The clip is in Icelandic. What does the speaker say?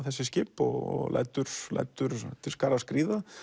þessi skip og lætur lætur til skarar skríða